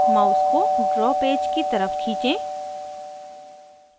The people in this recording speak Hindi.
mouse को draw पेज की तरफ खींचें